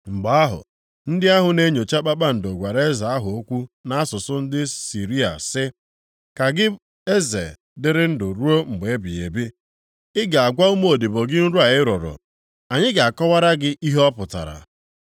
Mgbe ahụ, ndị ahụ na-enyocha kpakpando gwara eze ahụ okwu nʼasụsụ ndị Siria sị, “Ka gị eze dịrị ndụ ruo mgbe ebighị ebi, Ị ga-agwa ụmụodibo gị nrọ a ị rọrọ, anyị ga-akọwara gị ihe ọ pụtara.”